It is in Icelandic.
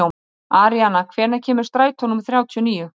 Aríana, hvenær kemur strætó númer þrjátíu og níu?